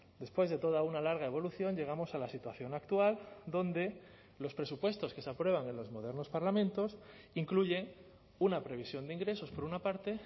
después de toda una larga evolución llegamos a la situación actual donde los presupuestos que se aprueban en los modernos parlamentos incluye una previsión de ingresos por una parte